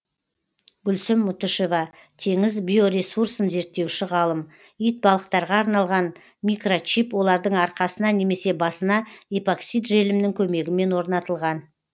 гүлсім мұтышева теңіз биоресурсын зерттеуші ғалым итбалықтарға арналған микрочип олардың арқасына немесе басына эпоксид желімінің көмегімен орнатылған